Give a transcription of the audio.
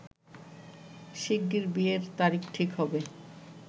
শিগগির বিয়ের তারিখ ঠিক হবে